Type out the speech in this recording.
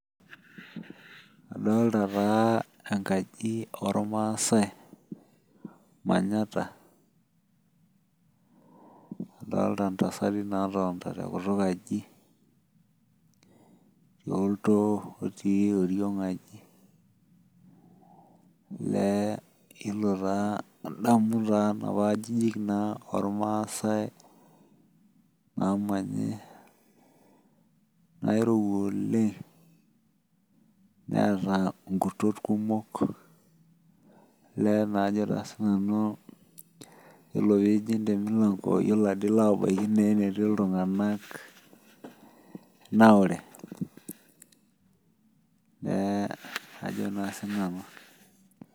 Adolta taa enkaji ormaasai manyata adolita ntasati natoonita toltoo otii oriong aji elee ilo taa adamu napa ajijik ormaasai namanyi nairowua oleng naata nkutot kumok ore pijing temilanko ilo abaki enetii ltunganak naure neaku ajo na sinanu.